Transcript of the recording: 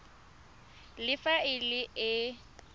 le fa e le e